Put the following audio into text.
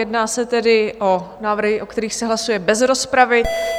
Jedná se tedy o návrhy, o kterých se hlasuje bez rozpravy.